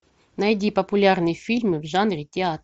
найди популярные фильмы в жанре театр